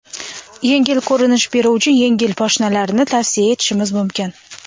Yengil ko‘rinish beruvchi yengil poshnalarni tavsiya etishimiz mumkin.